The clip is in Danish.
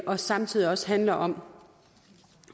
og samtidig også handler om